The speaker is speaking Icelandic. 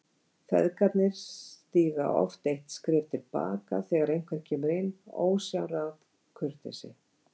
Feðgarnir stíga oft eitt skref til baka þegar einhver kemur inn, ósjálfráð kurteisi.